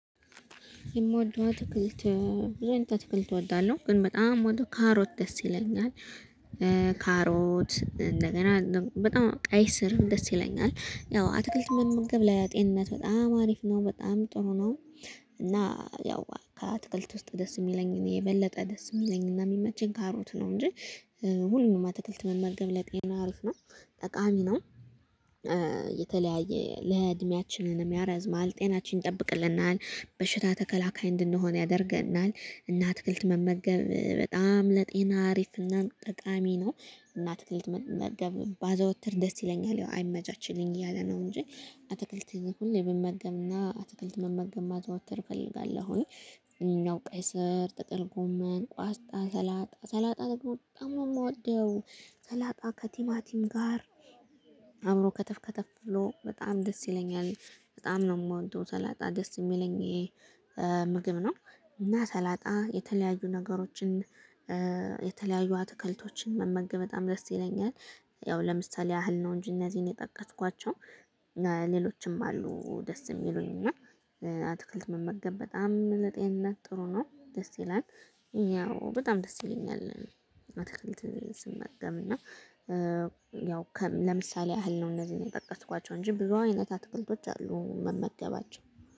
የምወደው አትክልት ብዙ አይነት አትክልት እወዳለሁ ግን በጣም የምወደው ካሮት ደስ ይለኛል። ካሮት እንደገና በጣም ቀይ ስር ደስ ይለኛል ያው አትክልት መመገብ ለጤንነት በጣም አሪፍ ነው በጣም ጥሩ ነው። እና ያው ከአትክልት ውስጥ ደስ የሚለኝ እኔ የበለጠ ደስ የሚለኝና የሚመችኝ ካሮት ነው። እንጂ ሁሉንም አትክልት መመገብ ለጤና አሪፍ ነው ጠቃሚ ነው። የተለያየ ለእድሜያችንንም ያረዝማል ጤናችን ይጠብቅልናል በሽታ ተከላካይ እንድንሆን ያደርገናል። እና አትክልት መመገብ በጣም ለጤና አሪፍ እና ጠቃሚ ነው። እና አትክልት መመገብ ባዘወትር ደስ ይለኛል ያው አይመቻችልኝ እያለ ነው እንጂ። አትክልት ሁሌ ብመገብና አትክልት መመገብ ማዘወትር እፈልጋለሁ። ያው ቀይ ስር ጥቅል ጎመን ቋስጣ ሰላጣ ሰላጣ ተደግሞ በጣም ነው የምወደው። ሰላጣ ከቲማቲም ጋር አብሮ ከተፍ ከተፍ ብሎ በጣም ደስ ይለኛል። በጣም ነው የምወደው ሰላጣ ደስ የሚለኝ። ምግብ ነው። እና ሰላጣ የተለያዩ ነገሮችን የተለያዩ አትከልቶችን መመገብ በጣም ደስ ይለኛል። ያው ለምሳሌ ያህል ነው እንጂ እነዚህን የጠቀስኳቸው ሌሎችም አሉ ደስ የሚሉኝ እና። አትክልት መመገብ በጣም ለጤንነት ጥሩ ነው ደስ ይላል። ያው በጣም ደስ ይለኛል። አትክልት ስመገብ እና ያው ለምሳሌ ያህል ነው እነዚህን የጠቀስኳቸው እንጂ ብዙ አይነት አትክልቶች አሉ የምመገባቸው